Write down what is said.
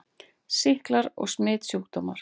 SÝKLAR OG SMITSJÚKDÓMAR